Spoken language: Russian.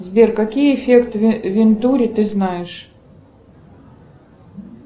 сбер какие эффекты вентури ты знаешь